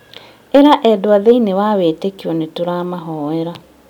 ĩra endwa thĩiniĩ wa wĩtĩkio nĩtũramahoera